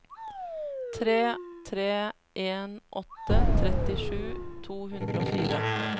tre tre en åtte trettisju to hundre og fire